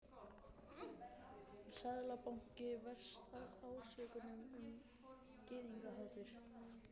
Seðlabanki verst ásökunum um gyðingahatur